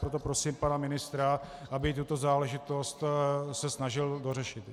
Proto prosím pana ministra, aby se tuto záležitost snažil dořešit.